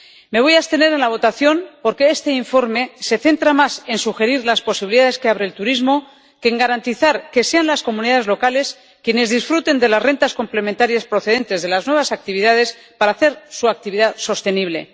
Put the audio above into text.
Me voy a abstener en la votación porque este informe se centra más en sugerir las posibilidades que abre el turismo que en garantizar que sean las comunidades locales quienes disfruten de las rentas complementarias procedentes de las nuevas actividades para hacer su actividad sostenible.